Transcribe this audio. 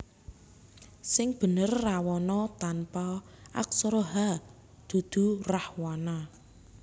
Sing bener Rawana tanpa aksara h dudu Rahwana